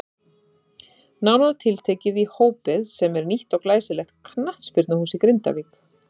Nánar tiltekið í Hópið sem er nýtt og glæsilegt knattspyrnuhús í Grindavík.